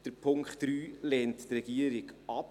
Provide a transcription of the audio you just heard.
Den Punkt 3 lehnt die Regierung ab.